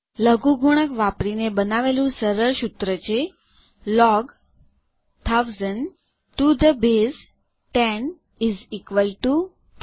લઘુગુણક ૧૦૦૦ જેનો પાયો ૧૦ છે તે ૩ નાં બરાબર છે આ એક લઘુગુણક વાપરીને બનાવેલું સરળ સૂત્ર છે